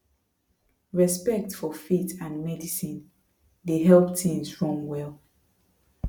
respect for faith and medicine dey help things run well